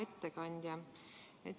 Hea ettekandja!